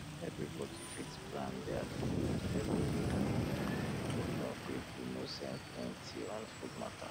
everybody fit plan deir food every week e um go help pipu no spend plenty um on food matter